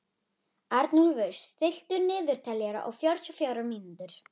Arnúlfur, stilltu niðurteljara á fjörutíu og fjórar mínútur.